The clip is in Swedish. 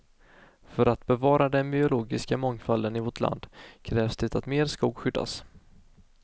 För att bevara den biologiska mångfalden i vårt land krävs det att mer skog skyddas.